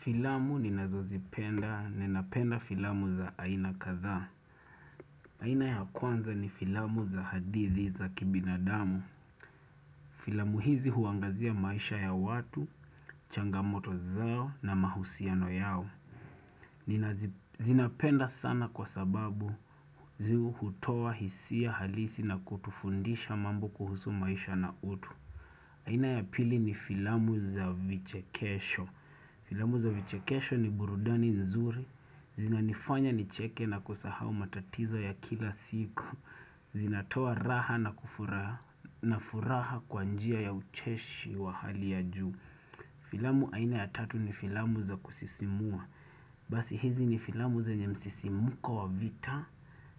Filamu ninazozipenda, ninapenda filamu za aina kadhaa. Aina ya kwanza ni filamu za hadithi za kibinadamu. Filamu hizi huangazia maisha ya watu, changamoto zao na mahusiano yao. Zinapenda sana kwa sababu zihutowa hisia halisi na kutufundisha mambo kuhusu maisha na utu. Aina ya pili ni filamu za vichekesho. Filamu za vichekesho ni burudani nzuri. Zina nifanya nicheke na kusahau matatizo ya kila siku zina toa raha na furaha kwa njia ya ucheshi wa hali ya juu Filamu aina ya tatu ni filamu za kusisimua Basi hizi ni filamu zenye msisimuko wa vita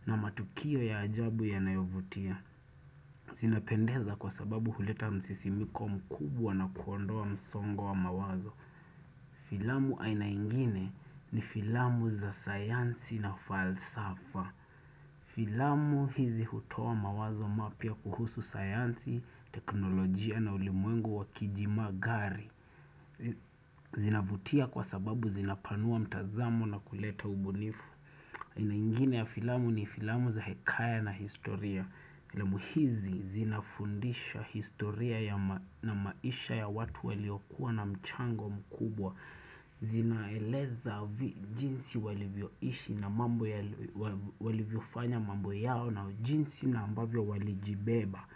na matukio ya ajabu ya nayovutia zina pendeza kwa sababu huleta msisimuko mkubwa na kuondoa msongo wa mawazo Filamu aina ingine ni filamu za sayansi na falsafa Filamu hizi hutoa mawazo mapya kuhusu sayansi, teknolojia na ulimwengu wakijima gari zinavutia kwa sababu zinapanua mtazamo na kuleta ubunifu Ainaingine ya filamu ni filamu za hekaya na historia filamu hizi zinafundisha historia ya na maisha ya watu waliokuwa na mchango mkubwa Zinaeleza jinsi walivyoishi na mambo, walivyofanya mambo yao na jinsi na ambavyo walijibeba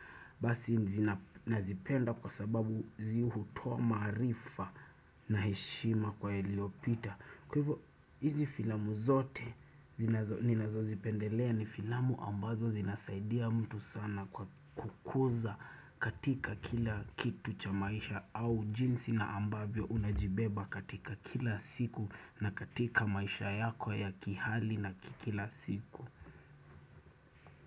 Basi nazipenda kwa sababu zihutoa maarifa na heshima kwa yaliopita Kwa hivyo hizi filamu zote ninazo zipendelea ni filamu ambazo zinasaidia mtu sana kwa kukuza katika kila kitu cha maisha au jinsi na ambavyo unajibeba katika kila siku na katika maisha yako ya kihali na kikila siku.